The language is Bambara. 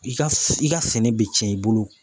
I ka i ka sɛnɛ bɛ tiɲɛ i bolo